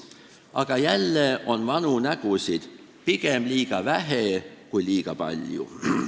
Aga jälle on vanu nägusid pigem liiga vähe kui liiga palju.